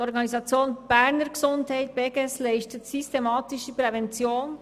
Die Organisation Berner Gesundheit (Beges) leistet systematische Prävention.